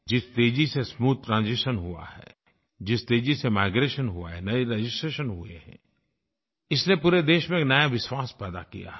जिस तेज़ी से स्मूथ ट्रांजिशन हुआ है जिस तेज़ी से माइग्रेशन हुआ है नये रजिस्ट्रेशन हुए हैं इसने पूरे देश में एक नया विश्वास पैदा किया है